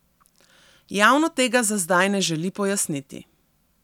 Javno tega zazdaj ne želi pojasniti.